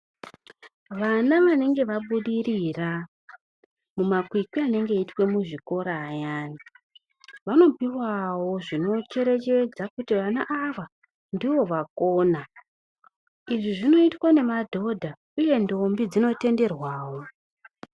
Vana vanenge vabudirira mumakwikwi anenge eiitwe muzvikora ayani vanopuwawo zvinocherechedza kuti vana ava ndivo vakona. Izvi zvinoitwa nemadhodha uye ndombi dzinotenderwawo.